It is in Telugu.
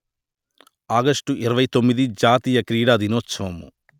ఆగష్టు ఇరవై తొమ్మిది జాతీయ క్రీడా దినోత్సవము